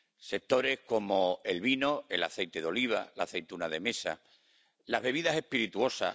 sectores como el vino, el aceite de oliva, las aceitunas de mesa, las bebidas espirituosas